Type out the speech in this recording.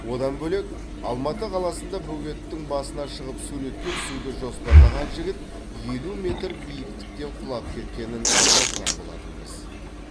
одан бөлек алматы қаласында бөгеттің басына шығып суретке түсуді жоспарлаған жігіт елу метр биіктіктен құлап кеткенін жазған болатынбыз